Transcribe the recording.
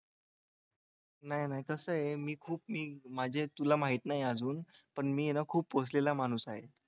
नाही कसा आहे मी खूप मी माझ्या तुला माहित नाही अजून पण मी आहे ना खूप पोहोचलेला माणूस आहे.